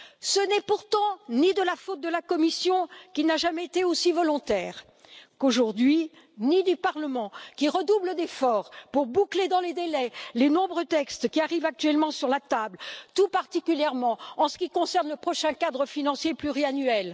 Ce n'est pourtant ni de la faute de la Commission qui n'a jamais été aussi volontaire qu'aujourd'hui ni du Parlement, qui redouble d'efforts pour boucler dans les délais les nombreux textes qui arrivent actuellement sur la table, tout particulièrement en ce qui concerne le prochain cadre financier pluriannuel.